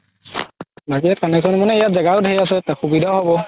বাকি মানে connection মানে ইয়াত জেগাও ধেৰ আছে সুবিধাও হ'ব